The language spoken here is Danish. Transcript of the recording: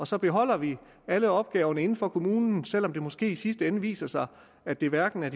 så beholder de alle opgaverne inden for kommunen selv om det måske i sidste ende viser sig at det hverken er